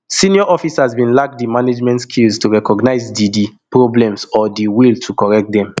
senior officers bin lack di management skills to recognise di di problems or di will to correct dem